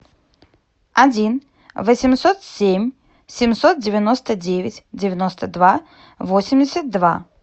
один восемьсот семь семьсот девяносто девять девяносто два восемьдесят два